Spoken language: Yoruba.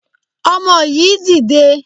Ọmọ yìí dìde!